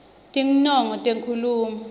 tinongo tenkhulumo